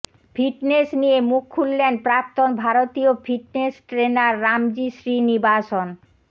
fitness নিয়ে মুখ খুললেন প্রাক্তন ভারতীয় ফিটনেস ট্রেনার রামজি শ্রীনিবাসন